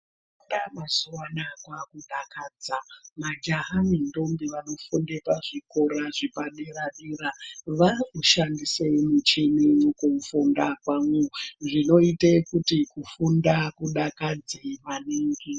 Mazuva anaya kwakudakadza ,majaha nendombi vanofune pazvikora zvepadera dera varikushandise michini mukufunda kwavo zvinoita kuti kufunda kudakadze maningi.